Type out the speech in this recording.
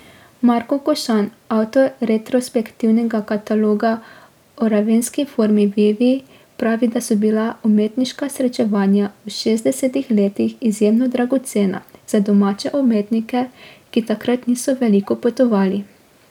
Marko Košan, avtor retrospektivnega kataloga o ravenski formi vivi, pravi, da so bila umetniška srečevanja v šestdesetih letih izjemno dragocena za domače umetnike, ki takrat niso veliko potovali.